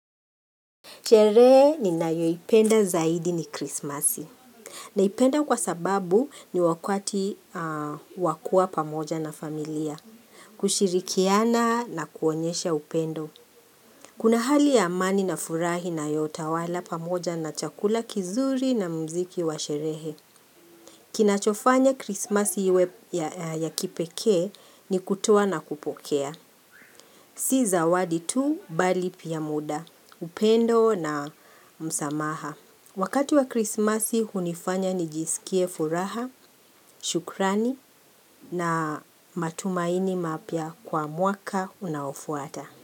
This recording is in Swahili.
Sherehe ninayoipenda zaidi ni krismasi. Naipenda kwa sababu ni wakati wa kuwa pamoja na familia. Kushirikiana na kuonyesha upendo. Kuna hali ya amani na furaha inayotawala pamoja na chakula kizuri na muziki wa cherehe. Kinachofanya krismasi iwe ya kipekee ni kutoa na kupokea. Si zawadi tu bali pia muda. Upendo na msamaha. Wakati wa krismasi hunifanya nijisikie furaha, shukrani na matumaini mapya kwa mwaka unaofuata.